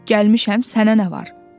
Gəlmişəm, sənə nə var?